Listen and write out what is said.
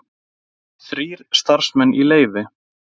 Þrír starfsmenn í leyfi